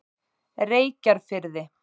Reykjarfirði